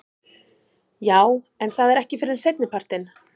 Jú en það er ekki fyrr en seinnipartinn.